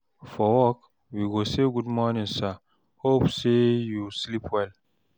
for work we go say, gud morning sir, hope say yu sleep well?